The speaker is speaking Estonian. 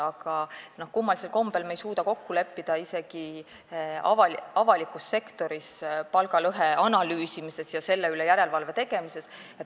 Aga kummalisel kombel ei suuda me kokku leppida isegi avalikus sektoris palgalõhe analüüsimises ja selle üle järelevalve tegemises.